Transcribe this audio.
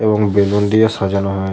এবং বেলুন দিয়ে সাজানো হয়ে--